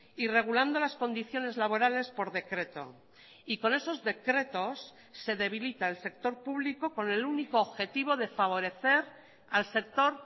y regulando las condiciones laborales por decreto y con esos decretos se debilita el sector público con el único objetivo de favorecer al sector